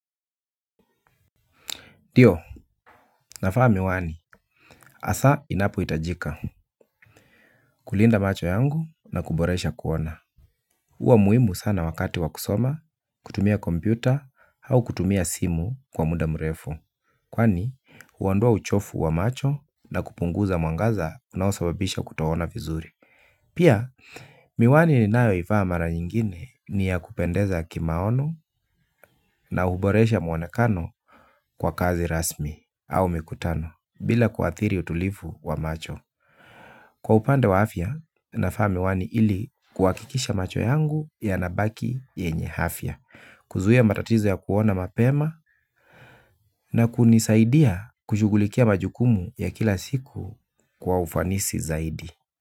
Ndio, nafaa miwani, hasa inapo itajika, kulinda macho yangu na kuboresha kuona huwa muhimu sana wakati wakusoma, kutumia kompyuta au kutumia simu kwa muda mrefu. Kwani, huandoa uchofu wa macho na kupunguza mwangaza unaosababisha kuto ona vizuri. Pia, miwani ninayo ivaa mara nyingine ni ya kupendeza kimaono na huboresha mwonekano kwa kazi rasmi au mikutano bila kuathiri utulivu wa macho. Kwa upande wa afya, navaa miwani ili kuwakikisha macho yangu ya nabaki yenye afya. Kuzuia matatizo ya kuona mapema na kunisaidia kushughulikia majukumu ya kila siku kwa ufanisi zaidi.